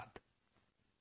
ਬਹੁਤਬਹੁਤ ਧੰਨਵਾਦ